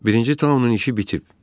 Birinci Taonun işi bitib.